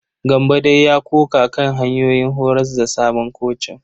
Gambo dai ya ƙoƙa kan hanyoyin horas da sabon kocin.